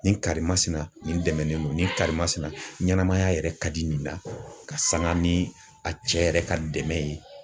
Nin karimasina nin dɛmɛ don nin karimasina ɲanamaya yɛrɛ ka di nin na ka sanga ni a cɛ yɛrɛ ka dɛmɛ ye.